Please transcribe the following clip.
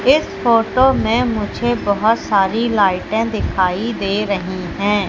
इस फोटो में मुझे बहोत सारी लाइटे दिखाई दे रही हैं।